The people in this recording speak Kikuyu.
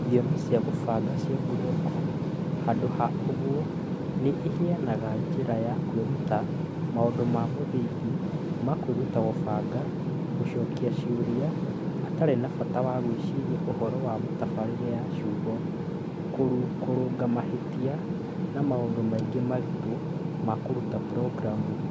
Thiomi cia kũbanga cia buroko handũ ha ũguo, nĩ iheanaga njĩra ya kwĩruta maũndũ ma mũthingi ma kwĩruta kũbanga na gũcokia ciũria atarĩ na bata wa gwĩciria ũhoro wa mĩtabarĩre ya ciugo, kũrũnga mahĩtia, na maũndũ mangĩ maritũ ma kũruta programu.